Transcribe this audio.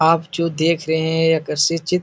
आप जो देख रहे है एक अस्सी चित --